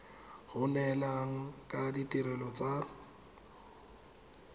go neelana ka ditirelo tsa